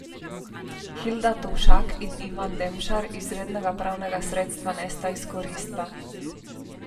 Hilda Tovšak in Ivan Demšar izrednega pravnega sredstva nista izkoristila.